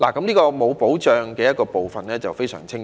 這個欠缺保障的問題便非常清晰。